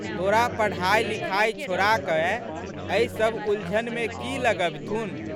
तोरा पढ़ाइलिखाइ छोड़ाकए एहिसब उलझनमे की लगबिथुन।